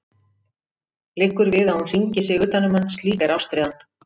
Liggur við að hún hringi sig utan um hann, slík er ástríðan.